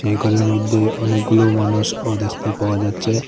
এই ঘরের মধ্যে অনেকগুলো মানুষও দেখতে পাওয়া যাচ্ছে।